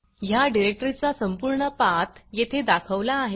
ह्या डिरेक्टरीचा संपूर्ण पाथ येथे दाखवला आहे